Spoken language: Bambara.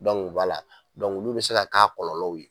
Dɔnku wala dɔnku olu be se ka k'a kɔlɔlɔw ye